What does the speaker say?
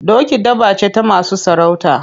Doki dabba ce ta masu sarauta.